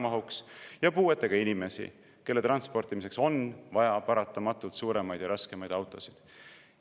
Ja puuetega inimesi, kelle transportimiseks on paratamatult vaja suuremaid ja raskemaid autosid.